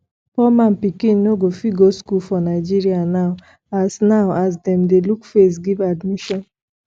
poor man pikin no go fit go school for nigeria now as now as dem dey look face give admission